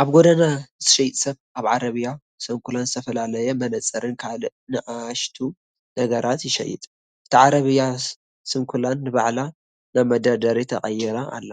ኣብ ጎደና ዝሸይጥ ሰብ ኣብ ዓረብያ ስንኩላን ዝተፈላለየ መነጽርን ካልእ ንኣሽቱ ነገራትን ይሸይጥ። እታ ዓረብያ ስንኩላን ንባዕላ ናብ መደርደሪ ተቐይራ ኣላ።